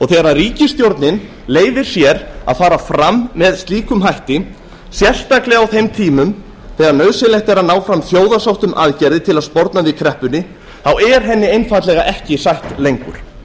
þegar ríkisstjórnin leyfir sér að fara fram með slíkum hætti sérstaklega á þeim tímum þegar nauðsynlegt er að ná fram þjóðarsátt um aðgerðir til að sporna við kreppunni er henni einfaldlega ekki sætt lengur